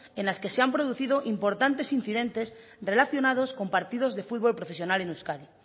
en las que se han producido importantes incidentes relacionados con partidos de fútbol profesional en euskadi